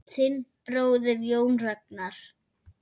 Þinn bróðir, Jón Ragnar.